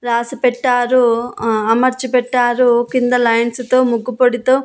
రాసి పెట్టారు ఆ అమర్చి పెట్టారు కింద లైన్స్ తో ముగ్గు పొడితో--